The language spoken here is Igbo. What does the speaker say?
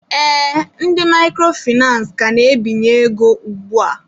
Ee, ndị microfinace ka na-ebinye ego ugbua.